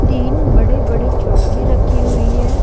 तीन बड़े-बड़े चौकी रखी हुई है।